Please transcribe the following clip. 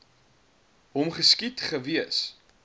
hom geskiet gewees